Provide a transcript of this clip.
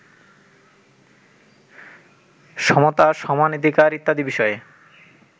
সমতা সমানাধিকার ইত্যাদি বিষয়ে